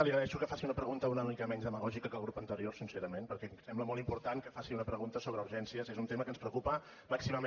li agraeixo que faci una pregunta una mica menys demagògica que el grup anterior sincerament perquè em sembla molt important que faci una pregunta sobre urgències és un tema que ens preocupa màximament